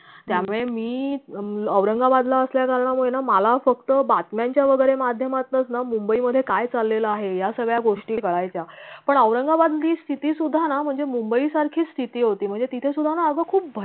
त्यामुळे मी अं हम्म औरंगाबादला असल्या कारणामुळे मला फक्त बातम्यांच्या वगैरे माध्यमातनच ना मुंबईमध्ये काय चाललेल आहे या सगळ्या गोष्टी कळायच्या पण औरंगाबाद मधली स्थिती सुद्धा ना म्हणजे मुंबई सारखीच स्थिती होती म्हणजे तिथे सुद्धा ना अग खूप